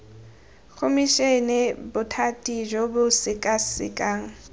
khomišene bothati jo bo sekasekang